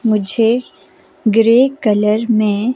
मुझे grey colour में--